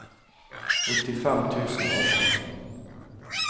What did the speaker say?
åttifem tusen og atten